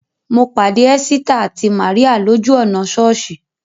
Mo pàdé Ẹ́sítà àti Màríà lójú ọ̀nà sọ́ọ̀sì